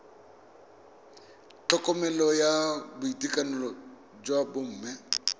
tlhokomelo ya boitekanelo jwa bomme